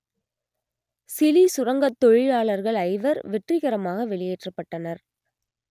Chile சுரங்கத் தொழிலாளர்கள் ஐவர் வெற்றிகரமாக வெளியேற்றப்பட்டனர்